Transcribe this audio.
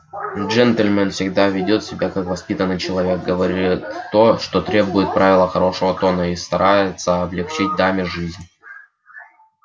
джентльмен всегда ведёт себя как воспитанный человек говорит то чего требуют правила хорошего тона и старается облегчить даме жизнь